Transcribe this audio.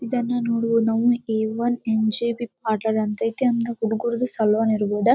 ಇದನ್ನುನೋಡು ನಮ್ A N M J B part ಅಂತ ಅಯ್ತಿ ಹುಡುಗ್ರುದ್ದು ಸಲೂನ್ ಇರಬಹುದಾ.